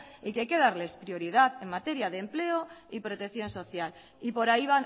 y que hay que darles prioridad en materia de empleo y protección social y por ahí